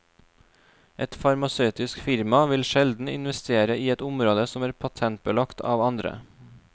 Et farmasøytisk firma vil sjelden investere i et område som er patentbelagt av andre.